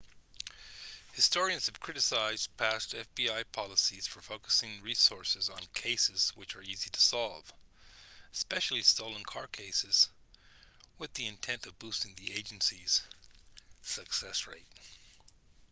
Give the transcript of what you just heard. historians have criticized past fbi policies for focusing resources on cases which are easy to solve especially stolen car cases with the intent of boosting the agency's success rate